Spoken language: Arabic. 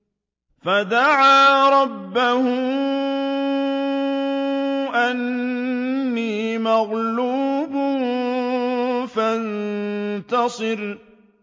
فَدَعَا رَبَّهُ أَنِّي مَغْلُوبٌ فَانتَصِرْ